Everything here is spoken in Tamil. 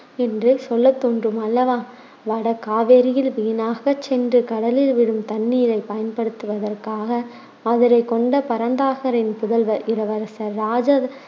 என்றே சொல்லத் தோன்றும் அல்லவா வட காவேரியில் வீணாகச் சென்று கடலில் விழும் தண்ணீரைப் பயன்படுத்துவதற்காக மதுரை கொண்ட பரந்தாகரின் புதல்வர் இளவரசர் ராஜ~